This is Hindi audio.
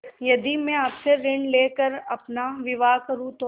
यदि मैं आपसे ऋण ले कर अपना विवाह करुँ तो